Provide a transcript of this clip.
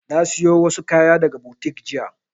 Na siyo wadansu kaya daga boutique jiya.